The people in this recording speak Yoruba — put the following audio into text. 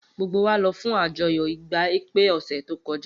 gbogbo wa lọ fun àjọyọ igba ekpe ose to kọja